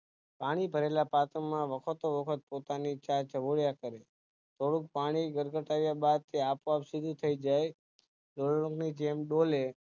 પાણી ભરેલા પાત્ર માં વખતો વખત પોતાની ચાંચ બોળીયા કરે થોડું પાણી ઘટઘટાવ્યા બાદ તે આપો આપ સીધું થઈ જાય ઢોર ની જેમ બોલે